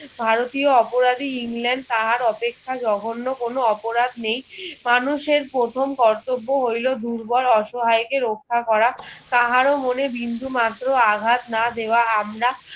ভারতীয় অপরাধী ইংল্যান্ড তাহার অপেক্ষা জঘন্য কোনো অপরাধ নেই মানুষের প্রথম কর্তব্য দুর্বল অসহায় কে রক্ষা করা কাহারো মনে বিন্দুমাত্র আঘাত না দেওয়া আমরা